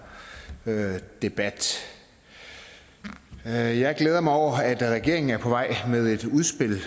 debat jeg jeg glæder mig over at regeringen er på vej med et udspil